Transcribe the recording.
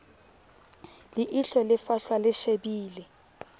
leihlo le fahlwa le shebile